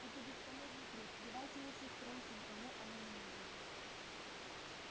это бесполезный труд давайте лучше спросим кому оно не нужно